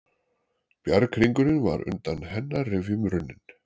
Bjarghringurinn var undan hennar rifjum runninn.